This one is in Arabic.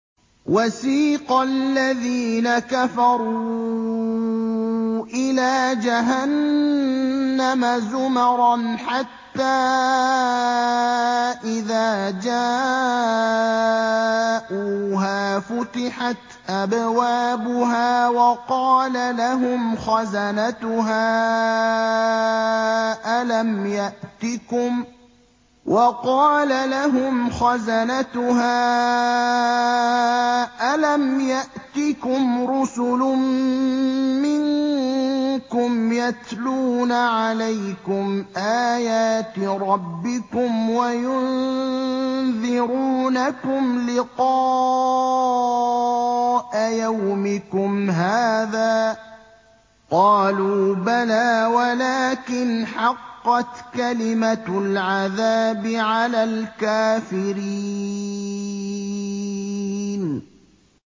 وَسِيقَ الَّذِينَ كَفَرُوا إِلَىٰ جَهَنَّمَ زُمَرًا ۖ حَتَّىٰ إِذَا جَاءُوهَا فُتِحَتْ أَبْوَابُهَا وَقَالَ لَهُمْ خَزَنَتُهَا أَلَمْ يَأْتِكُمْ رُسُلٌ مِّنكُمْ يَتْلُونَ عَلَيْكُمْ آيَاتِ رَبِّكُمْ وَيُنذِرُونَكُمْ لِقَاءَ يَوْمِكُمْ هَٰذَا ۚ قَالُوا بَلَىٰ وَلَٰكِنْ حَقَّتْ كَلِمَةُ الْعَذَابِ عَلَى الْكَافِرِينَ